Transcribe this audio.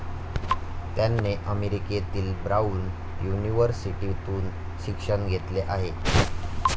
त्याने अमेरिकेतील ब्राऊन युनिव्हर्सिटीतून शिक्षण घेतले आहे.